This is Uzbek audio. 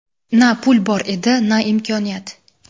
Na pul bor edi, na imkoniyat.